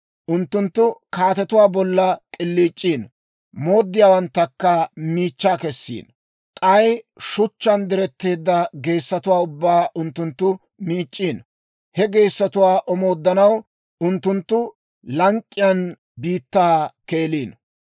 Unttunttu kaatetuwaa bolla k'iliic'iino; mooddiyaawanttakka miichchaa kessiino; k'ay shuchchaan diretteedda geessatuwaa ubbaan unttunttu miic'c'iino. He geessotuwaa omooddanaw unttunttu lank'k'iyaan biittaa keeliino.